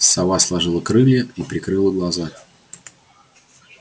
сова сложила крылья и прикрыла глаза